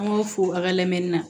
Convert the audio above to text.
An b'a fɔ fo aw ka lamɛnni na